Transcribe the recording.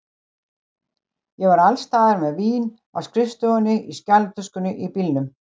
Ég var alls staðar með vín, á skrifstofunni, í skjalatöskunni, í bílnum.